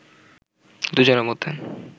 দুজনের মধ্যে